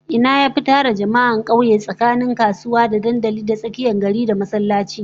Ina yafi tara jama'a a kauye tsakanin kasuwa, da dandalin tsakiyar gari, da masallaci?